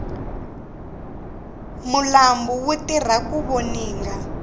malambhu ya tirha ku voninga